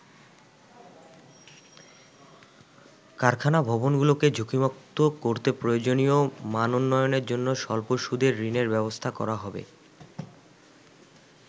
কারখানা ভবনগুলোকে ঝুঁকিমুক্ত করতে প্রয়োজনীয় মানোন্নয়নের জন্য স্বল্প সুদে ঋণের ব্যবস্থা করা হবে।